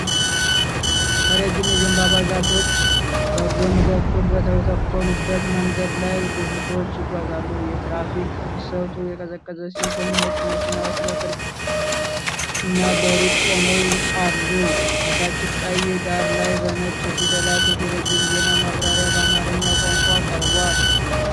ረዥም የዘንባባ ዛፎች በጎን በኩል በተተከሉበት መንገድ ላይ ብዙ ሰዎች ይጓዛሉ። የትራፊክ ፍሰቱ የቀዘቀዘ ሲሆን፣ ነጭ መኪናዎች በቅርብና በሩቅ ቆመው አሉ። ከታች ቀይ ዳራ ላይ በነጭ ፊደላት የቴሌቪዥን ዜና ማብራሪያ በአማርኛ ቋንቋ ቀርቧል።